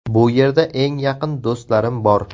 Bu yerda eng yaqin do‘stlarim bor.